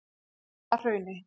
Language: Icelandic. Hjallahrauni